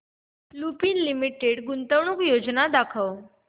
Lupin limited गुंतवणूक योजना दाखव